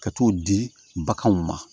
Ka t'o di baganw ma